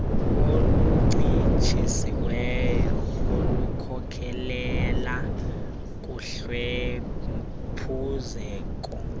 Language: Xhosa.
oluncitshisiweyo olukhokelela kuhlwempuzeko